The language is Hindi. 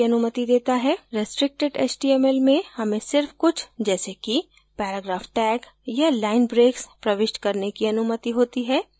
restricted html में हमें सिर्फ कुछ जैसे कि paragraph tag या line breaks प्रविष्ट करने की अनुमति होती है